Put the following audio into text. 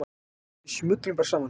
Við smullum bara saman.